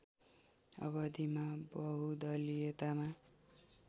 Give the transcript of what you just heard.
अवधिमा बहुदलीयतामा